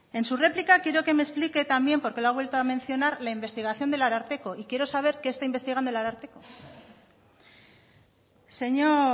en su réplica quiero que me explique también porque lo ha vuelto mencionar la investigación del ararteko y quiero saber qué está investigando el ararteko señor